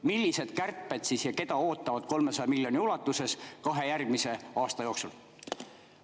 Millised kärped ja keda ootavad 300 miljoni ulatuses kahe järgmise aasta jooksul?